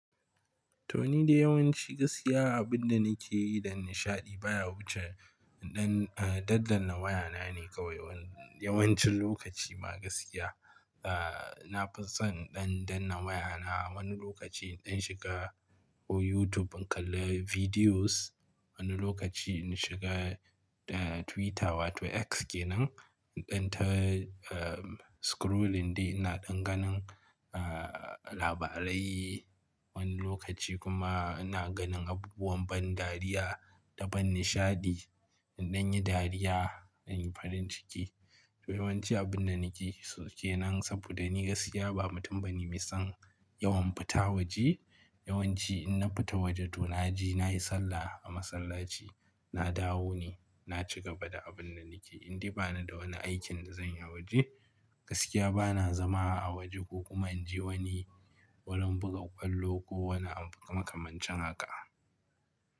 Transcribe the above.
To ni dai yawanci gaskiya abin da nake yi dan nishaɗi baya wuce in ɗan, ah, daddanna wayana ne kawai yawancin lokaci ma gaskiya. Ah, na fi son in dan danna wayana. Wani lokaci in dan shiga ko YouTube in kalla videos, wani lokaci in shiga, ah, Twitter wato X kenan, in ta, ah, scrolling dai ina ɗan ganin, ah, labarai. Wani lokaci kuma ina ganin abubuwan ban dariya da ban nishaɗi, in ɗan yi dariya, in yi farin ciki. To yawanci abin da nake so kenan saboda ni gaskiya ba mutum bane mai son yawan fita waje. Yawanci in na fita waje to naje nayi sallah a masallaci, na dawo ne, na ci gaba da abin da nake. In dai bani da wani aikin da zan yi a waje, gaskiya ba na zama a waje ko kuma in je wani wurin buga ƙwallo ko wani abu makamancin haka.